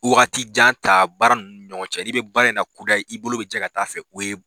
Wagati jan ta baara nunnu ni ɲɔgɔn cɛ. N'i be baara in na kudɛyi, i bolo be jɛ ka taa fɛ ,o ye